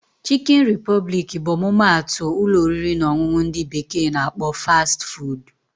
Chikin repụblik bụ ọmụma atụ ụlọ oriri na ọṅụṅụ ndị bekee na akpọ 'Fast food'